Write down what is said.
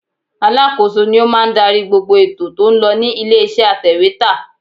Alákòóso ni ó máa ń darí gbogbo ètò tó ń lọ ní ilé iṣẹ́ atèwétà.